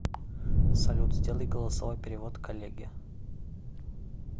салют сделай голосовой перевод коллеге